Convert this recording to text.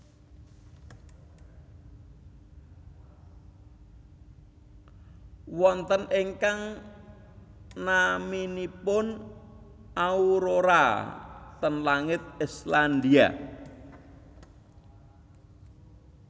Wonten ingkang naminipun aurora ten langit Islandia